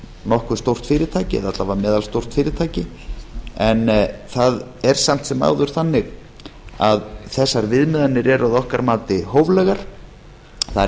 nokkuð stórt fyrirtæki alla vega meðalstórt fyrirtæki en það er samt sem áður þannig að þessar viðmiðanir eru að okkar mati hóflegar það er